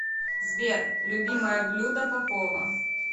сбер любимое блюдо попова